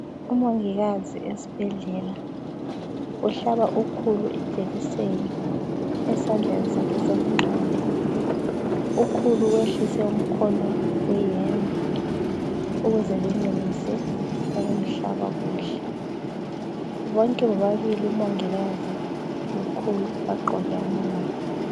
Umongikazi esibhedlela uhlaba ukhulu ijekiseni esandleni sakhe sokungxele. Ukhulu wehlise umkhono weyembe ukuze enelise ukumhlaba kuhle. Bonke bobabili umongikazi lokhulu bagqoke amamaski.